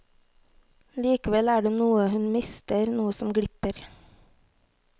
Likevel er det noe hun mister, noe som glipper.